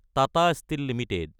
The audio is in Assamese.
Tata steel Ltd